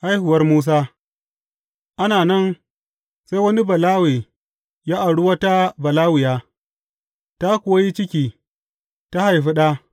Haihuwar Musa Ana nan, sai wani Balawe ya auri wata Balawiya, ta kuwa yi ciki, ta haifi ɗa.